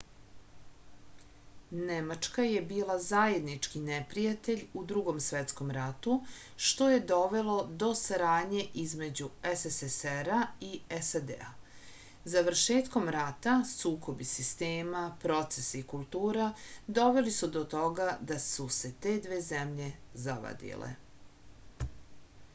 nemačka je bila zajednički neprijatelj u drugom svetskom ratu što je dovelo do saradnje između sssr-a i sad završetkom rata sukobi sistema procesa i kultura doveli su do toga da su se te dve zemlje zavadile